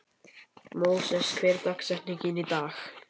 Móses, hver er dagsetningin í dag?